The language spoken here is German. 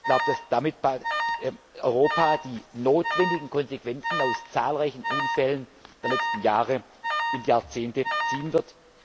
Ich glaube, dass damit Europa die notwendigen Konsequenzen aus zahlreichen Unfällen der letzten Jahre und Jahrzehnte ziehen wird.